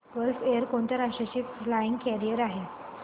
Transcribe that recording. gulf Air कोणत्या राष्ट्राची flag carrier आहे